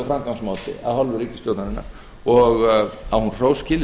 framgangsmáti af hálfu ríkisstjórnarinnar og á hún hrós skilið